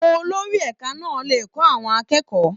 Olórí ẹ̀ka náà le kọ́ àwọn akẹ́kọ̀ọ́.